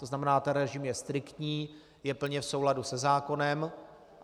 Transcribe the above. To znamená, ten režim je striktní, je plně v souladu se zákonem.